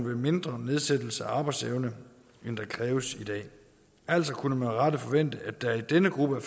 en mindre nedsættelse af arbejdsevnen end det kræves i dag altså kunne man med rette forvente at der i denne gruppe af